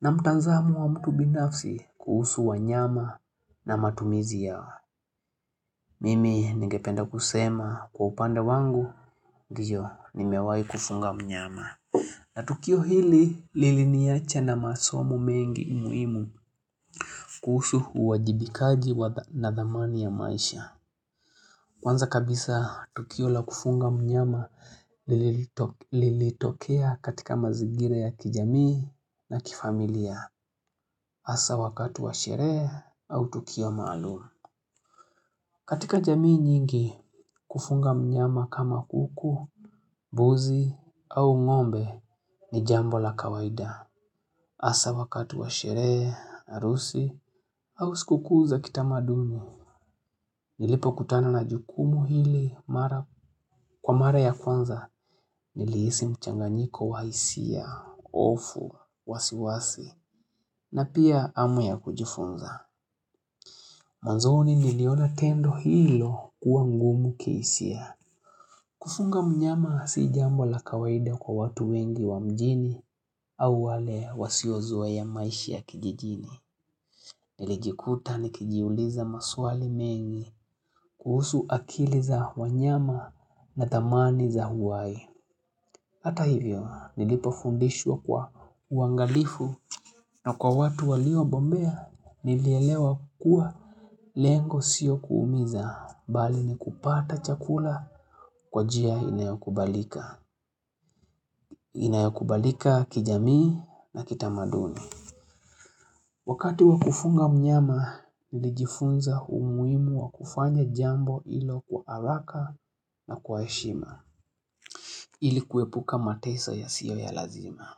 na mtanzamo wa mtu binafsi kuhusu wanyama na matumizi yao. Mimi ningependa kusema kwa upande wangu, ndio nimewai kufunga mnyama. Na tukio hili liliniacha na masomo mengi muhimu kuhusu uwajibikaji wa na thamani ya maisha. Kwanza kabisa, Tukio la kufunga mnyama lilitokea katika mazigira ya kijamii na kifamilia. Hasa wakati wa sherehe au Tukio maalum. Katika jamii nyingi, kufunga mnyama kama kuku, buzi au ng'ombe ni jambo la kawaida. Asa wakatu wa sherehe, arusi au sikukuu za kitamadumu. Nilipokutana na jukumu hili mara kwa mara ya kwanza niliisi mchanganiko wa isia, ofu, wasiwasi, na pia amu ya kujifunza. Mwanzoni niliona tendo hilo kuwa ngumu kiisia. Kufunga mnyama si jambo la kawaida kwa watu wengi wa mjini au wale wasiozea maishi ya kijijini. Nilijikuta nikijiuliza maswali mengi kuhusu akili za wanyama na thamani za huwai. Hata hivyo nilipofundishwa kwa uangalifu na kwa watu waliobombea nilielewa kua lengo sio kuumiza bali ni kupata chakula kwa jia inayokubalika. Inayokubalika kijamii na kitamaduni. Wakati wa kufunga mnyama, nilijifunza umuimu wa kufanya jambo ilo kwa alaka na kwa heshima. Ili kuepuka mateso yasiyo ya lazima.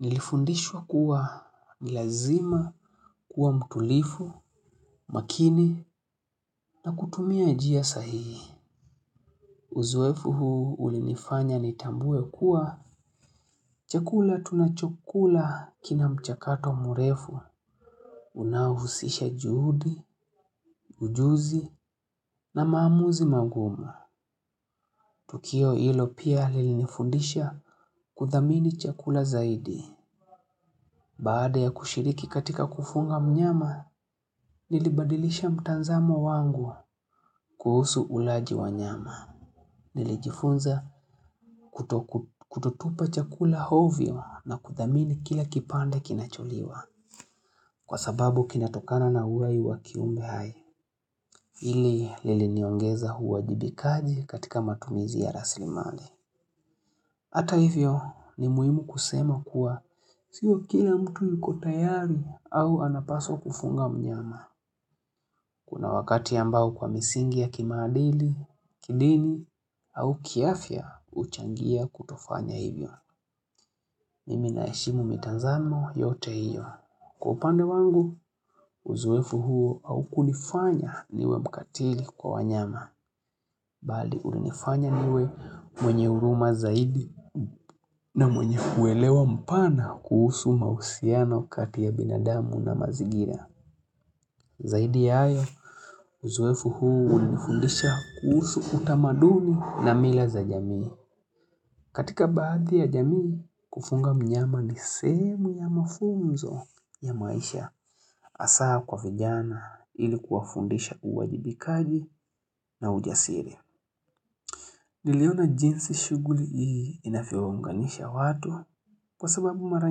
Nilifundishwa kuwa ni lazima kuwa mtulifu, makini na kutumia jia sahihi. Uzoefu huu ulinifanya nitambue kuwa chakula tunachokula kina mchakato murefu. Unaohusisha juhudi, ujuzi na maamuzi mangumu Tukio ilo pia lilinifundisha kuthamini chakula zaidi Baada ya kushiriki katika kufunga mnyama Nilibadilisha mtanzamo wangu kuhusu ulaji wa nyama Nilijifunza kutotupa chakula hovyo na kuthamini kila kipande kinacholiwa Kwa sababu kinatokana na uai wa kiumbe hai Hili liliniongeza huwajibikaji katika matumizi ya raslimali. Hata hivyo ni muhimu kusema kuwa sio kila mtu yuko tayari au anapaswa kufunga mnyama. Kuna wakati ambao kwa misingi ya kimaadili, kidini au kiafia uchangia kutofanya hivyo. Mimi naheshimu mitanzamo yote hiyo. Kwa upande wangu, uzoefu huo aukunifanya niwe mkatili kwa wanyama. Bali ulinifanya niwe mwenye uruma zaidi na mwenye kuelewa mpana kuhusu mausiano kati ya binadamu na mazigira. Zaidi ya ayo, uzoefu huu ulinifundisha kuhusu utamaduni na mila za jamii. Katika baadhi ya jamii, kufunga mnyama ni sehemu ya mafunzo ya maisha asaa kwa vijana ili kuwafundisha uwajibikaji na ujasiri. Niliona jinsi shuguli hii inavyowaunganisha watu kwa sababu mara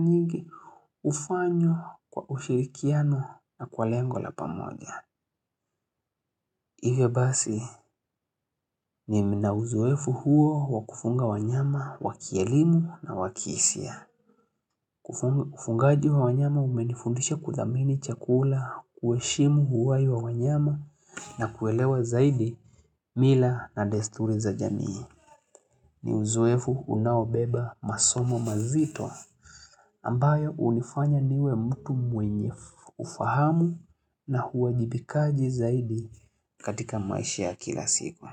nyigi ufanywa kwa ushirikiano na kwa lengo la pamoja. Ivyo basi mi na uzoefu huo wakufunga wanyama wa kielimu na wa kiisia. Kufungaji wa wanyama umenifundisha kuthamini chakula, kueshimu huwai wa wanyama na kuelewa zaidi mila na desturi za jamii. Ni uzoefu unaobeba masomo mazito ambayo unifanya niwe mtu mwenye ufahamu na huwajibikaji zaidi katika maisha ya kila siku.